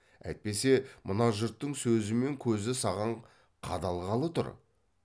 әйтпесе мына жұрттың сөзі мен көзі саған қадалғалы тұр